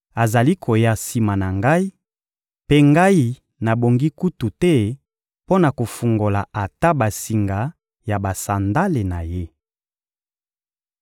azali koya sima na ngai, mpe ngai nabongi kutu te mpo na kofungola ata basinga ya basandale na Ye.